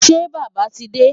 Ṣé Bàbá ti dé?